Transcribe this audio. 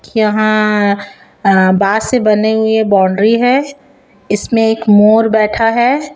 यहां बांस से बने हुए बाउंड्री है। इसमें एक मोर बैठा है।